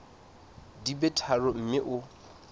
di be tharo mme o